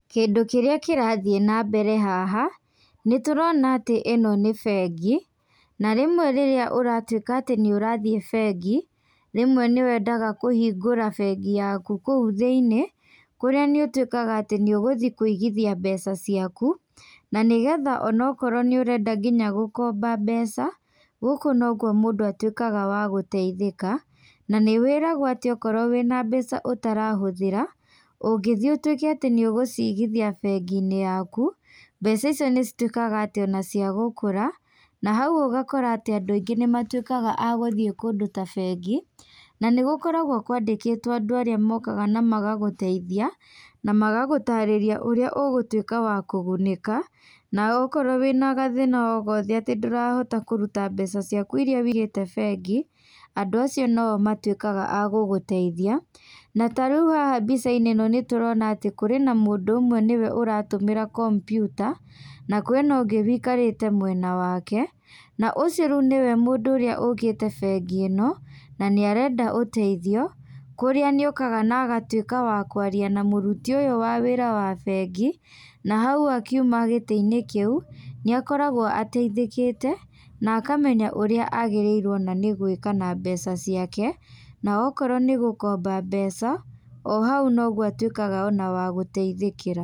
Kĩndũ kĩrĩa kĩrathiĩ na mbere haha, nĩ tũrona atĩ ĩno nĩ bengi, na rĩmwe rĩrĩa ũratuĩka atĩ nĩ ũrathiĩ bengi, rĩmwe nĩ wendaga kũhingũra bengi yaku kũu thĩiniĩ. Kũrĩa nĩ ũtĩkaga atĩ nĩ ũgũthi kũigithia mbeca ciaku, na nĩgetha onokorwo nĩ ũrenda nginya gũkomba mbeca, gũkũ nokuo mũndũ atuĩkaga wa gũteithĩka. Na nĩ wĩragwo atĩ okorwo wĩna mbeca ũtarahũthĩra, ũngĩthiĩ ũtuĩke atĩ nĩ ũgũcigithia bengi-inĩ yaku, mbeca icio nĩ citũĩkaga atĩ ona cia gũkũra. Na hau ũgakora atĩ andũ aingĩ nĩ matuĩkaga a gũthiĩ kũndũ ta bengi, na nĩ gũkoragwo kwandĩkĩtwo andũ arĩa mokaga na magagũteithia, na magagũtarĩria ũrĩa ũgũtuĩka wa kũgunĩka. Na okorwo wĩna gathĩna o gothe atĩ ndũrahota kũruta mbeca ciaku irĩa wĩigĩte bengi, andũ acio no o matuĩka a gũgũteithia. Na tarĩu haha mbica-inĩ ĩno nĩtũrona atĩ kũrĩ na mũndũ ũmwe nĩwe ũratũmĩra kompiuta, na kwĩna ũngĩ wĩikarĩte mwena wake. Na ũcio rĩu nĩwe mũndũ ũrĩa ũkĩte bengi ĩno, na nĩ arenda ũteithio, kũrĩa nĩ okaga na agatuĩka wa kwaria na mũruti ũyũ wa wĩra wa bengi, na hau akiuma gĩtĩ-inĩ kĩu, nĩ akoragwo ateithĩkĩte, na akamenya ũrĩa agĩrĩirwo ona nĩ gwĩka na mbeca ciake. Na okorwo nĩ gũkomba mbeca, o hau no guo atuĩkaga ona wa gũteithĩkĩra.